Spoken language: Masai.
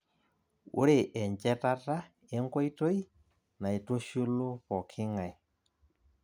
Ore enchetata enkoitoi naitushulu pooki ng'ae